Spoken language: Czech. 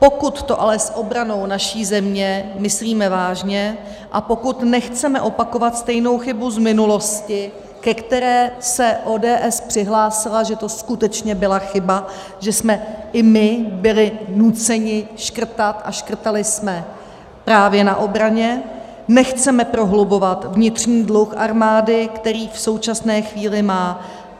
Pokud to ale s obranou naší země myslíme vážně a pokud nechceme opakovat stejnou chybu z minulosti, ke které se ODS přihlásila, že to skutečně byla chyba, že jsme i my byli nuceni škrtat, a škrtali jsme právě na obraně, nechceme prohlubovat vnitřní dluh armády, který v současné chvíli má.